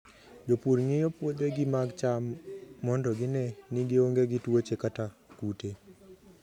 Jopur ng'iyo puothegi mag cham mondo gine ni gionge gi tuoche kata kute.